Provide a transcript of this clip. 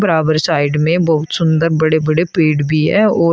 side में बहुत सुंदर बड़े बड़े पेड़ भी है और--